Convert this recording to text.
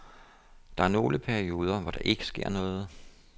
Der er nogle perioder, hvor der ikke sker noget.